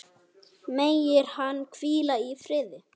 Megir hann hvíla í friði.